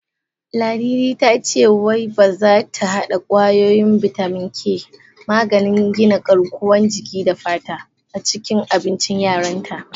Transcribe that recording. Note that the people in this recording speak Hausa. Ladidi ta ce wai zata hada kwayoyin bitamin K/maganin gina garkuwan jiki da fata, a cikin abincin yaran ta.